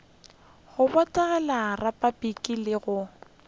go botegela repabliki le go